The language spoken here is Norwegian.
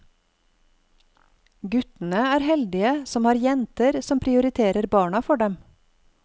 Guttene er heldige som har jenter som prioriterer barna for dem.